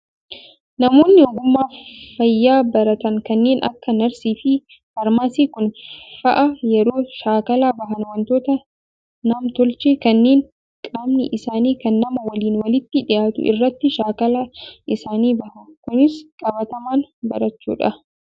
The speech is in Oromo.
Namoonni ogummaa fayyaa baratan kanneen akka narsii fi faarmaasii Kun fa'aa yeroo shaakala bahan wantoota namn-tolchee kanneen qaamni isaanii kan namaa waliin walitti dhiyaatu irratti shaakala isaanii bahu. Kunis qabatamaan barachuudha.